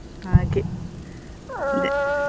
ಹಾಗೆ ಅದೇ.